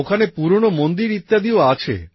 ওখানে পুরনো মন্দির ইত্যাদিও আছে